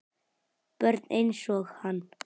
Börn einsog hann.